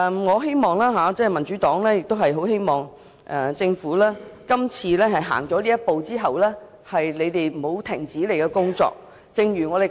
所以，我與民主黨很希望政府今次走出這一步後不會停止工作。